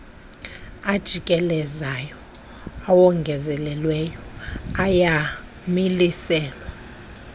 ajikelezayo awongezelelweyo ayamiliselwa